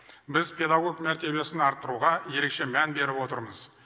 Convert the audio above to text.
біз педагог мәртебесін арттыруға ерекше мән беріп отырмыз